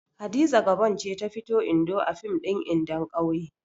Hadiza Gabon ce ta fito Indo a fim ɗin Indon ƙauye.